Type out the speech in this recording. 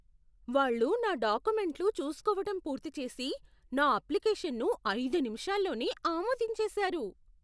వాళ్ళు నా డాక్యుమెంట్లు చూస్కోవటం పూర్తి చేసి, నా అప్లికేషన్ను ఐదు నిమిషాల్లోనే ఆమోదించేశారు!